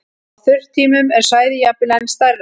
Á þurrkatímum er svæðið jafnvel enn stærra.